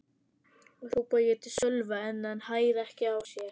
hrópaði ég til Sölva en hann hægði ekki á sér.